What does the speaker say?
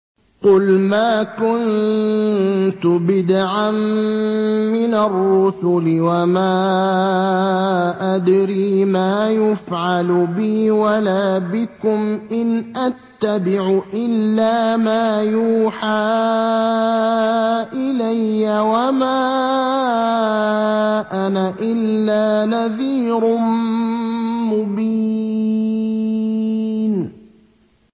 قُلْ مَا كُنتُ بِدْعًا مِّنَ الرُّسُلِ وَمَا أَدْرِي مَا يُفْعَلُ بِي وَلَا بِكُمْ ۖ إِنْ أَتَّبِعُ إِلَّا مَا يُوحَىٰ إِلَيَّ وَمَا أَنَا إِلَّا نَذِيرٌ مُّبِينٌ